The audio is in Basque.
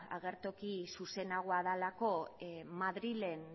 agertoki zuzenagoa delako madrilen